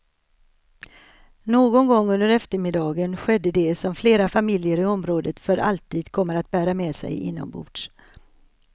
Någon gång under eftermiddagen skedde det som flera familjer i området för alltid kommer att bära med sig inombords.